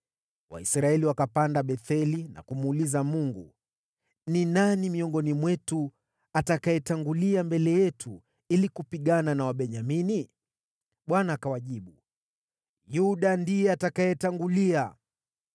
Waisraeli wakapanda Betheli na kumuuliza Mungu, “Ni nani miongoni mwetu atakayetangulia mbele yetu ili kupigana na Wabenyamini?” Bwana akawajibu, “Yuda ndiye atakayetangulia.”